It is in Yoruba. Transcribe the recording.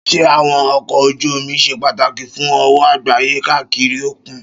Ṣé àwọn ọkọ̀ ojú omi ṣe pàtàkì fún òwò àgbáyé káàkiri òkun?